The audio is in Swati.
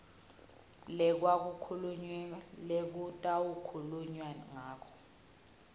lekwakhulunywa lekutawukhulunywa ngato